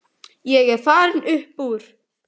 Ég er farinn upp úr.